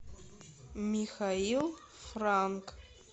михаил франк